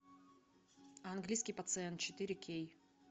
английский пациент четыре кей